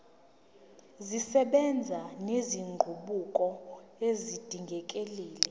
zisebenza nezinguquko ezidingekile